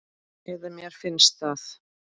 Eða mér finnst það.